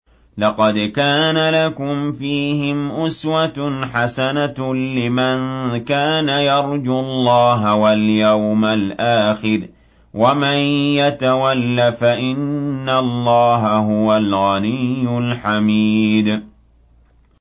لَقَدْ كَانَ لَكُمْ فِيهِمْ أُسْوَةٌ حَسَنَةٌ لِّمَن كَانَ يَرْجُو اللَّهَ وَالْيَوْمَ الْآخِرَ ۚ وَمَن يَتَوَلَّ فَإِنَّ اللَّهَ هُوَ الْغَنِيُّ الْحَمِيدُ